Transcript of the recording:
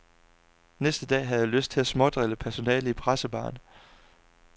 Næste dag havde jeg lyst til at smådrille personalet i pressebaren.